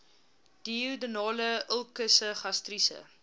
duodenale ulkusse gastriese